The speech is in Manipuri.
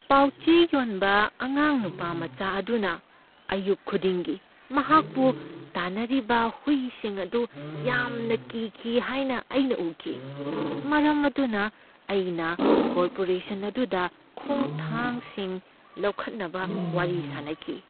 ꯄꯥꯎꯆꯦ ꯌꯣꯟꯕ ꯑꯉꯥꯡ ꯅꯨꯄꯥ ꯃꯆꯥ ꯑꯗꯨꯅ ꯑꯌꯨꯛ ꯈꯨꯗꯤꯡꯒꯤ ꯃꯍꯥꯛꯄꯨ ꯇꯥꯟꯅꯔꯤꯕ ꯍꯨꯏꯁꯤꯡ ꯑꯗꯨ ꯌꯥꯝꯅ ꯀꯤꯈꯤ ꯍꯥꯏꯅ ꯑꯩꯅ ꯎꯈꯤ꯫ ꯃꯔꯝ ꯑꯗꯨꯅ, ꯑꯩꯅ ꯀꯣꯔꯄꯣꯔꯦꯁꯟ ꯑꯗꯨꯗ ꯈꯣꯡꯊꯥꯡꯁꯤꯡ ꯂꯧꯈꯠꯅꯕ ꯋꯥꯔꯤ ꯁꯥꯅꯈꯤ꯫